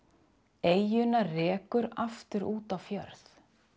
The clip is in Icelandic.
eyjuna rekur aftur út á fjörð